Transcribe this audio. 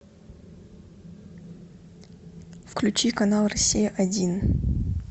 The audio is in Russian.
включи канал россия один